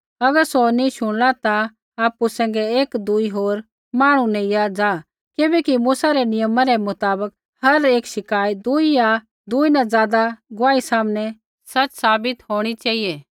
अगर सौ नी शुणला ता आपु सैंघै एकदूई होर मांहणु नेइया ज़ा किबैकि मूसा रै नियमा रै मुताबक हर एक शिकायत दुई या दुई न ज़ादा गुआही सामनै सच़ साबित होणी चेहिऐ